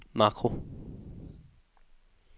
makro